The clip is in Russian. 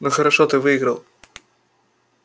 ну хорошо ты выиграл